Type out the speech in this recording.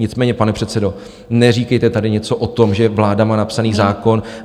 Nicméně pane předsedo, neříkejte tady něco o tom, že vláda má napsaný zákon...